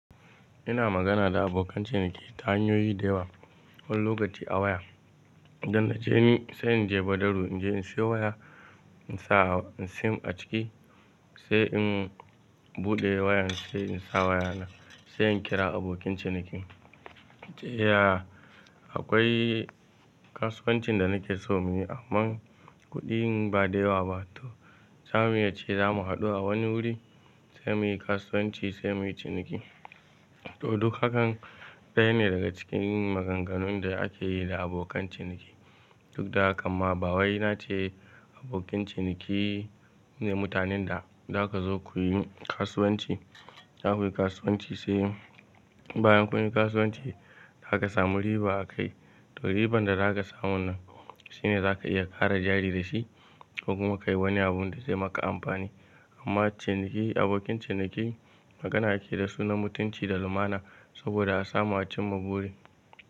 Ina magana da abokan ciniki ta hanyoyi da yawa wani lokaci a waya. Idan na je ni, sai in je bodaru in je in siyo waya, in sa sim a ciki, sai in buɗe wayan, sai in sa waya na, sai in kira abokin cinikin. Ya akwai kasuwancin da nake so muyi amma kuɗin ba da yawa ba to zamu yi ace za mu haɗu a wani wuri sai muyi kasuwanci sai muyi ciniki. To duk hakan ɗaya ne daga cikin maganganun da ake yi da abokan ciniki. Duk da hakamma bawai nace abokin ciniki ne mutanen da za ka zo kuyi kasuwanci. Za kuyi kasuwanci sai bayan kun yi kasuwanci za ka samu riba a kai. To riban da za ka samu nan shine za ka iya ƙara jari da shi ko kuma ka yi wani abun da zai maka amfani. Amma ciniki abokin ciniki magana ake da sunan mutunci da lumana saboda a samu a cimma buri.